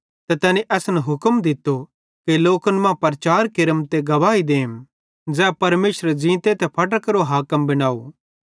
ते तैनी असन हुक्म दित्तो कि लोकन मां प्रचार केरम ते गवाही देम कि ई तैए ज़ै परमेशरे ज़ींते ते फटरां केरो हाकिम भोए